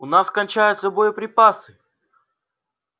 у нас кончаются боеприпасы